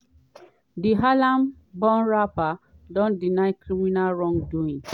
di harlem-born rapper don deny criminal wrongdoing.